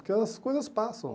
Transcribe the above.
Porque as coisas passam.